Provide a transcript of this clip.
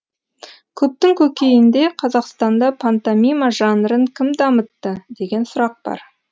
көптің көкейінде қазақстанда пантомима жанрын кім дамытты деген сұрақ бар